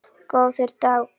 Góður dagur!